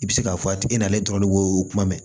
I bɛ se k'a fɔ a tigi nana ale dɔrɔn k'o kuma mɛn